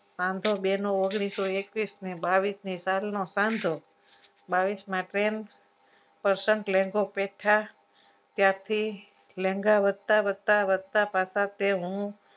આમ તો બેનો ઓગણીસો એકવીસ ને બાવીસ સાલનો સાન્થો બાવીસમાં tenth percent લેન્ગો પેઠા ત્યાંથી લેંગા વધતા વધતા વધતા પાસા તે હું